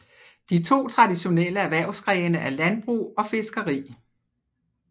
De to traditionelle erhvervsgrene er landbrug og fiskeri